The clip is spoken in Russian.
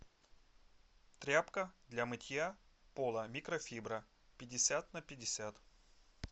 тряпка для мытья пола микрофибра пятьдесят на пятьдесят